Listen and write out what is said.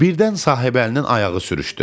Birdən Sahibəlinin ayağı sürüşdü.